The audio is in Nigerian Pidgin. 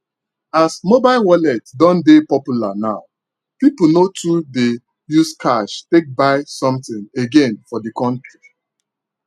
as mobile wallet don dey popular now people no too dey use cash take buy something again for the country